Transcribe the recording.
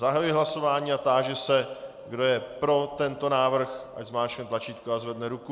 Zahajuji hlasování a táži se, kdo je pro tento návrh, ať zmáčkne tlačítko a zvedne ruku.